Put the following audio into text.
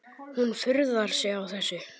Hún furðar sig á þessu.